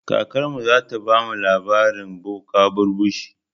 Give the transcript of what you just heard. Kakarmu zata bamu labarin boka barbushe.